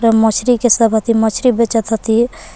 मछरी के सब हथि मछरी बेचत हथि।